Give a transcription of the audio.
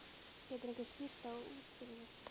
Getur einhver skýrt það út fyrir mér?